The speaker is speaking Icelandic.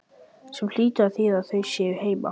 Sem hlýtur að þýða að þau séu heima.